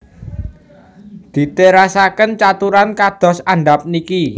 Diterasaken caturan kados andhap niki